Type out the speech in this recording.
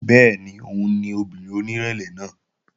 Bẹ́ẹ̀ni òun ni obìnrin onírẹ̀lẹ̀ náà